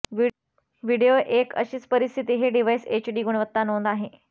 video एक अशीच परिस्थिती हे डिव्हाइस एचडी गुणवत्ता नोंद आहे